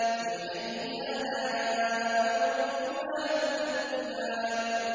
فَبِأَيِّ آلَاءِ رَبِّكُمَا تُكَذِّبَانِ